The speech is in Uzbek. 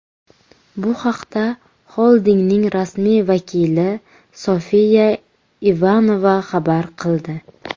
Bu haqda xoldingning rasmiy vakili Sofiya Ivanova xabar qildi.